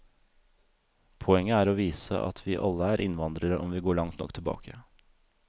Poenget er å vise at vi alle er innvandrere om vi går langt nok tilbake.